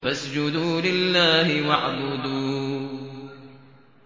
فَاسْجُدُوا لِلَّهِ وَاعْبُدُوا ۩